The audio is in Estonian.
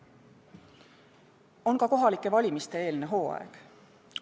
On ka kohalike valimiste eelne hooaeg.